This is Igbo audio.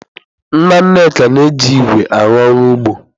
Nna Nneka na-eji ígwè arụ ọrụ ugbo.